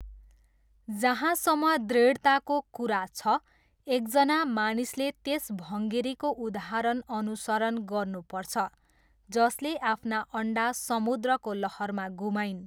जहाँसम्म दृढताको कुरा छ, एकजना मानिसले त्यस भङ्गेरीको उदाहरण अनुसरण गर्नुपर्छ जसले आफ्ना अन्डा समुद्रको लहरमा गुमाइन्।